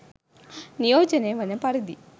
නියෝජනය වන පරිදි